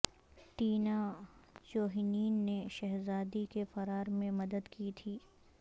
Tina جوہنین نے شہزادی کے فرار میں مدد کی تھی